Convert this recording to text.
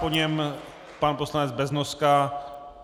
Po něm pan poslanec Beznoska.